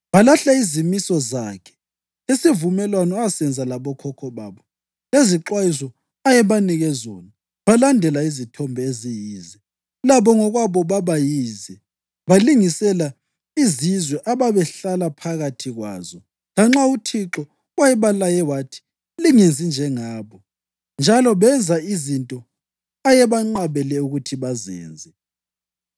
Balahla izimiso zakhe lesivumelwano asenza labokhokho babo lezixwayiso ayebanike zona. Balandela izithombe eziyize, labo ngokwabo baba yize, balingisela izizwe ababehlala phakathi kwazo lanxa uThixo wayebalaye wathi, “Lingenzi njengabo,” njalo benza izinto ayebanqabele ukuthi bazenze.